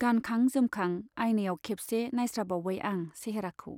गानखां जोमखां आइनायाव खेबसे नाइस्राबावबाय आं सेहेराखौ।